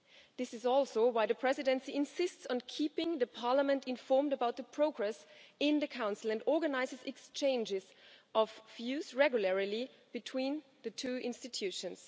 This is also why the Presidency insists on keeping Parliament informed about the progress in the Council and organises exchanges of views regularly between the two institutions.